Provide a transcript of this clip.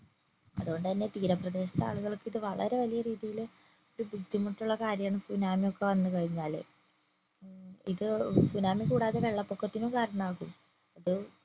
അതോണ്ട് തന്നെ തീരപ്രദേശത്തെ ആളുകൾക്ക് ഇത് വളരെ വലിയ രീതിയില് ഒരു ബുദ്ധിമുട്ട് ഉള്ള കാര്യാണ് സുനാമി ഒക്കെ വന്നു കഴിഞ്ഞാല് മ്മ് ഇത് സുനാമി കൂടാതെ വെള്ള പൊക്കത്തിനും കാരണാകും